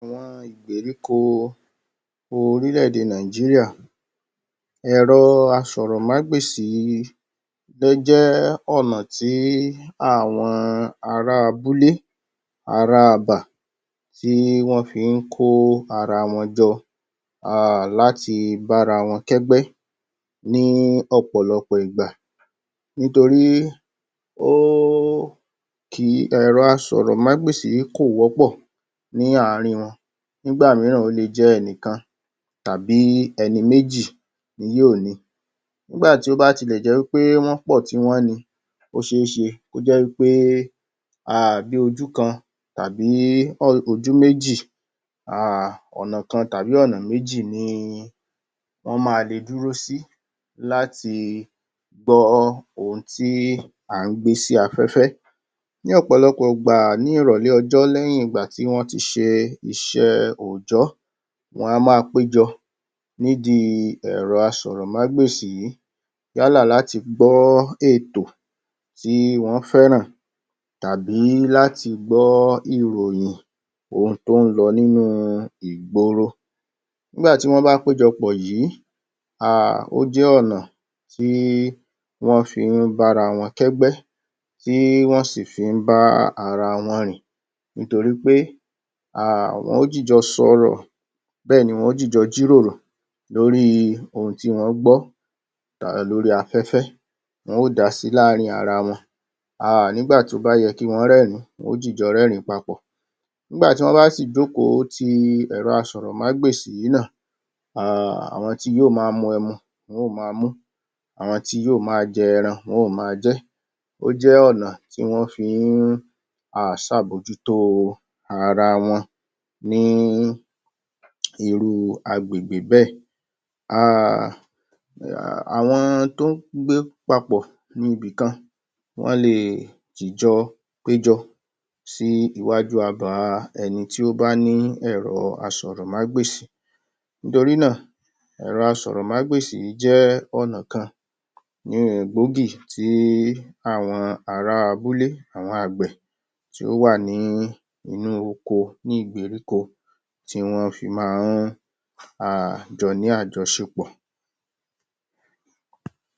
Àwọn ìgberíko orílẹ̀-èdè Nàìjíríà. Ẹ̀rọ asọ̀rọ̀mágbèsì jẹ́ ọ̀nà tí àwọn ará abúlé, ará abà tí wọ́n fí ń kó ara wọn jọ err láti bára wọn kẹ́gbẹ́ ní ọ̀pọ̀lọpọ̀ ìgbà nítorí o ẹ̀rọ asọ̀rọ̀mágbèsì yìí kò wọ́pọ̀ ní àárín wọn. Nígbà míràn o lè jẹ́ ẹni kan, tàbí ẹni méjì ni yóò ni. Nígbà tí ó bá tilẹ̀ jẹ́ wí pé wọ́n pọ̀ tí wọ́n ni, ó ṣe é ṣe kó jẹ́ wí pé err bí ojú kan tàbí ojú méjì, err ọ̀nà kan tàbí ọ̀nà méjì ni wọ́n ma le dúró sí láti gbọ́ ohun tí à ń gbé si afẹ́fẹ́. Ní ọ̀pọ̀lọpọ̀ ìgbà ní ìrọ̀lẹ̀ ọjọ́ lẹ́yìn ìgbà tí wọ́n ti ṣe iṣẹ́ òòjọ́, wọn á ma péjọ nídi ẹ̀rọ asọ̀rọ̀mágbèsì yìí, yálà láti gbọ́ ètò tí wọ́n fẹ́ràn tàbi láti gbọ́ ìròhìn ohun tó ń lọ nínú ígboro. Nígbà tí wọ́n bá péjọ pọ̀ yìí, err ó jẹ́ ọ̀nà tí wọ́n fi ń bára wọn kẹ́gbẹ́, tí wọ́n sì fi ń bá ara wọn rìn nítorí pé, err wọn ó jìjọ sọ̀rọ̀ bẹ́ẹ̀ni wọn ó jìjọ jíròrò lórí ohun tí wọ́n gbọ́ lórí afẹ́fẹ́, wọn ó dási láàárín ara wọn, err nígbà tó bá yẹ kí wọ́n rẹ́rìn-ín, wọn ó jìjọ rẹ́rìn-ín papọ̀. Nígbà tí wọ́n bá sì jókòó ti ẹ̀rọ asọ̀rọ̀mágbèsì yìí nà, err àwọn tí yóò máa mu ẹmu wọn ó máa mú, àwọn tí yóò máa jẹ ẹran wọn ó máa jẹ́. Ó jẹ́ ọ̀nà tí wọ́n fí ń err ṣàbójútó ara wọn ní irú agbègbè bẹ́ẹ̀. Err Àwọn tó ń gbé papọ̀ ní ibì kan, wọn lè jìjọ péjọ péjọ sí iwájú abà ẹni tí ó bá ní ẹ̀rọ asọ̀rọ̀mágbèsì. Nítorí náà, ẹ̀rọ asọ̀rọ̀mágbèsì yìí jẹ́ ọ̀nà kan err gbòógì tí àwọn ará abúlé, àwọn àgbẹ̀ tí ó wà ní inú oko ní ìgberíko tí wọ́n fi máa ń err jọ ní àjọṣepọ̀.